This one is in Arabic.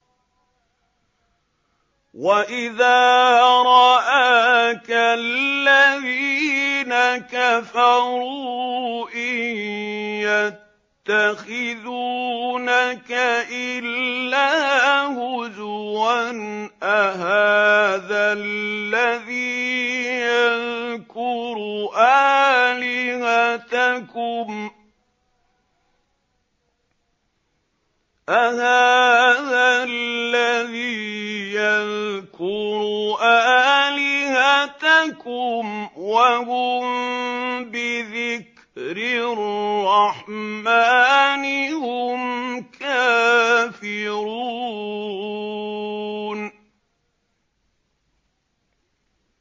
وَإِذَا رَآكَ الَّذِينَ كَفَرُوا إِن يَتَّخِذُونَكَ إِلَّا هُزُوًا أَهَٰذَا الَّذِي يَذْكُرُ آلِهَتَكُمْ وَهُم بِذِكْرِ الرَّحْمَٰنِ هُمْ كَافِرُونَ